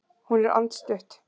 Hún er andstutt.